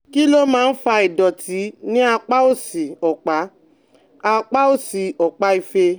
Kí ló máa ń fa ìdọ̀tí ní apá òsì ọ̀pá apá òsì ọ̀pá ìfẹ́?